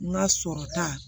N ka sɔrɔ ta